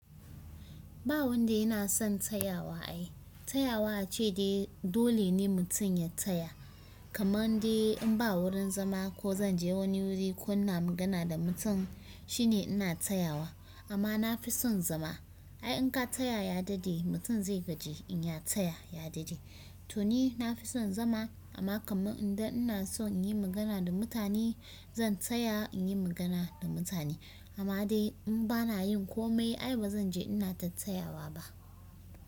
Ba wanda yana son tsayawa ai. Tsayawa a ce dai dole ne mutum ya tsaya. Kamar dai in ba wurin zama ko zan je wani wuri ko ina magana da mutum shine ina tsayawa amma na fi son zama. Ai in ka tsaya ya daɗe mutum zai gaji in ya tsaya ya daɗe. To ni na fi son zama amma kamar idan ina so in yi magana da mutane zan tsaya in yi magana da mutane amma dai in ba na yin komai ai ba zan je ina ta tsayawa ba.